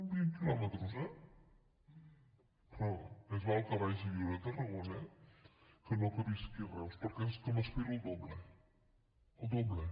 vint quilòmetres eh però més val que vagi a viure a tarragona que no que visqui a reus perquè és que m’espero el doble el doble